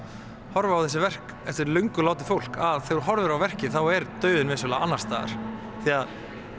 horfa á þessi verk eftir löngu látið fólk að þegar þú horfir á verkið þá er dauðinn vissulega annars staðar því að